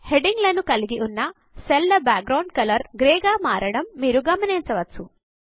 heading లను కలిగి ఉన్న సెల్ ల బాక్ గ్రౌండ్ గ్రే గా మారడమును మీరు గమనించవచ్చు